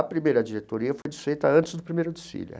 A primeira diretoria foi desfeita antes do primeiro desfile.